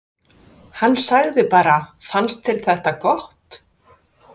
Hann sagði bara: Fannst þér þetta gott?